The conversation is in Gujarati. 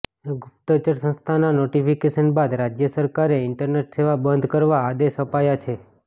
ગુપ્તચર સંસ્થાના નોટિફિકેશન બાદ રાજ્ય સરકારે ઈન્ટરનેટ સેવા બંધ કરવા આદેશ આપ્યા છે